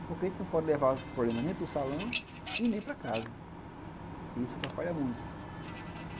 porque a gente não pode levar problema nem para o salão e nem para casa, que isso atrapalha muito.